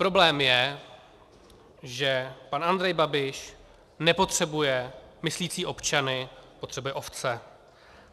Problém je, že pan Andrej Babiš nepotřebuje myslící občany, potřebuje ovce.